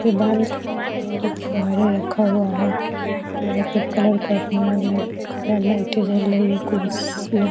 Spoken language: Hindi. ये बाल्ट यहाँ पर फुवारे रखा हुआ है वहाँ पर कलर करने वाला रखा हुआ लाइटे जल रही है कुर्सियाँ --